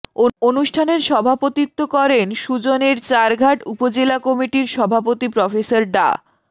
অনুষ্ঠানের সভাপতিত্ব করেন সুজনের চারঘাট উপজেলা কমিটির সভাপতি প্রফেসর ডা